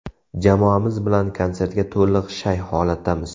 Jamoamiz bilan konsertga to‘liq shay holatdamiz.